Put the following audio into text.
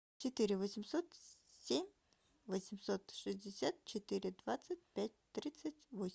четыре восемьсот семь восемьсот шестьдесят четыре двадцать пять тридцать восемь